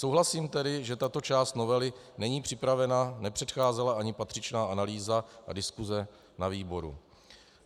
Souhlasím tedy, že tato část novely není připravena, nepředcházela ani patřičná analýza a diskuse na výboru.